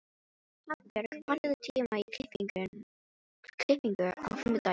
Hafbjörg, pantaðu tíma í klippingu á fimmtudaginn.